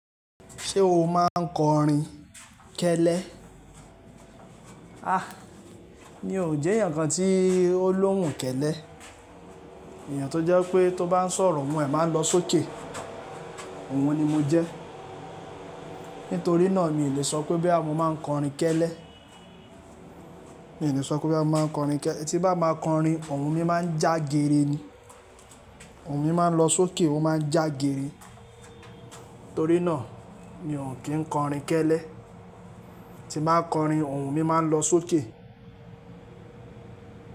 Ṣé o máa ń kọrin kẹ́lẹ́? Mi ò jẹ́ ẹ̀eyàn kan tí ó lóhùn kẹ́lẹ́. Ẹ̀eyàn tó jẹ́ wipé tó bá ń sọ̀rọ̀, ohùn ẹ máa ń lọ sókè. Òun ni mo jẹ́. Nítorí náà mi ò lè sọ pé bí à mó máa ń kọrin kẹ́lẹ́. Mi ò lè sọ pé boya mó máa ń kọrin kẹ́le tí n bá ma kọrin, ohùn mi má ń jágere ni. Ohùn mi máa ń lọ sókè, ó má ń jágere. Torí náà, mi ò kí ń kọrin kẹ́lẹ́. Tí n bá kọrin, ohùn mi máa ń lọ sókè.